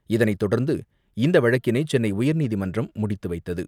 இதனைதொடர்ந்து இந்தவழக்கினைசென்னைஉயர்நீதிமன்றம் முடித்துவைத்தது.